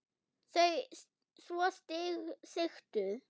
Þau svo sigtuð.